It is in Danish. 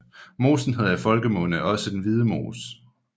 Mosen hedder i folkemunde også Den hvide mose